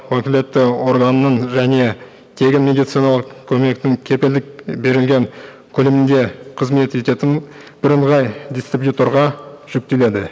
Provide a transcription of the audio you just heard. өкілетті органның және тегін медициналық көмектің кепілдік берілген көлемінде қызмет ететін бірыңғай дистрибьюторға жүктеледі